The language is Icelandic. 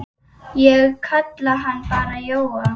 Ég kalla hann bara Jóa.